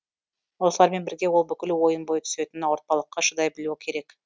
осылармен бірге ол бүкіл ойын бойы түсетін ауыртпалыққа шыдай білуі керек